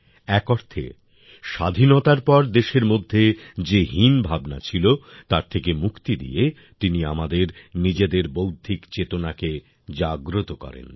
এক অর্থে স্বাধীনতার পর দেশের মধ্যে যে হীনভাবনা ছিল তার থেকে মুক্তি দিয়ে তিনি আমাদের নিজেদের বৌদ্ধিক চেতনাকে জাগ্রত করেন